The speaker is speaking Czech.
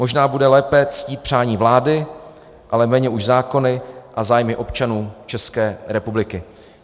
Možná bude lépe ctít přání vlády, ale méně už zákony a zájmy občanů České republiky.